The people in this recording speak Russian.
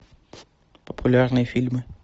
популярные фильмы